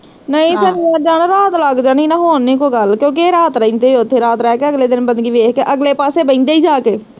ਨਈ ਫੇਰ ਏਦਾਂ ਨਾ ਰਾਤ ਲੱਗ ਜਾਣੀ ਨਾ ਹੋਰ ਨੀ ਕੋਈ ਗੱਲ, ਕਿਓਕਿ ਏਹ ਰਾਤ ਰਹਿੰਦੇ ਈ ਓਥੇ, ਰਾਤ ਰਹਿ ਕੇ ਅਗਲੇ ਦਿਨ ਬੰਦਗੀ ਦੇਖ ਕੇ, ਅਗਲੇ ਪਾਸੇ ਬਹਿੰਦੇ ਈ ਜਾਕੇ